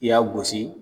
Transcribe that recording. I y'a gosi